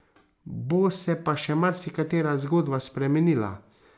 Bo se pa še marsikatera zgodba spremenila.